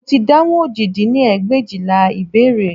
Mo ti dáhùn òjì dín ní ẹgbẹ̀éjìlá ìbéèrè